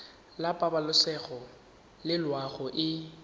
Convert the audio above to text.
la pabalesego le loago e